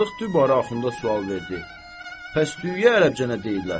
Sadıq dübarə Axunda sual verdi: Bəs düyüyə ərəbcə nə deyirlər?